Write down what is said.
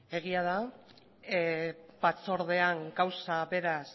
egia da batzordean gauza beraz